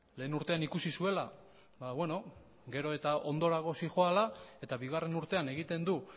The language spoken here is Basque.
lehengo urtean ikusi zuela ba beno gero eta ondorago zihoala eta bigarren urtean egiten du